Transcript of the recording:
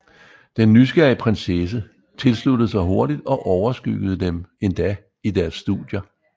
Den nysgerrige prinsesse tilsluttede sig hurtigt og overskyggede dem endda i deres studier